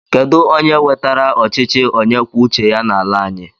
Kedu onye wetara ọchịchị onye kwuo uche ya n'ala anyị?